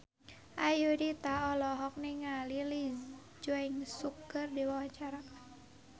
Ayudhita olohok ningali Lee Jeong Suk keur diwawancara